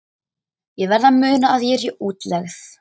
Ég verð að muna að ég er í útlegð.